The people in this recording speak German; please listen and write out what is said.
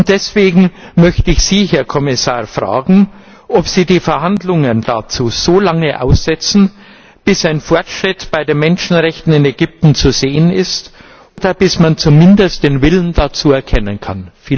Deswegen möchte ich Sie, Herr Kommissar, fragen, ob Sie die Verhandlungen dazu so lange aussetzen, bis ein Fortschritt bei den Menschenrechten in Ägypten zu sehen ist oder bis man zumindest den Willen dazu erkennen kann.